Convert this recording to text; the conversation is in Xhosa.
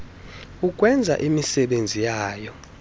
ukwenza imisebenzi yayo